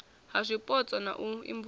ha zwipotso na u imvumvusa